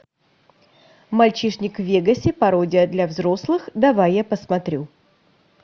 мальчишник в вегасе пародия для взрослых давай я посмотрю